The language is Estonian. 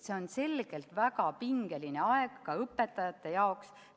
See on selgelt väga pingeline aeg ka õpetajate jaoks.